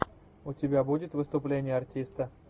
у тебя будет выступление артиста